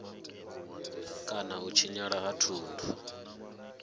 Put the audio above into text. kana u tshinyala ha thundu